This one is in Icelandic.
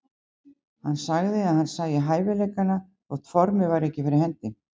Hann sagði að hann sæi hæfileikana þótt formið væri ekki fyrir hendi.